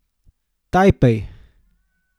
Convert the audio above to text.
Tajpej.